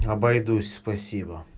обойдусь спасибо